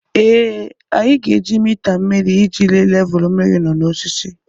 Ee, anyị ga-eji mita mmiri iji lee levulu mmiri nọ n'osisi.